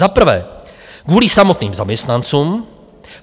Za prvé, kvůli samotným zaměstnancům.